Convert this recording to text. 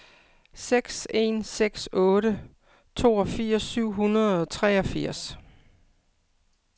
seks en seks otte toogfirs syv hundrede og treogfirs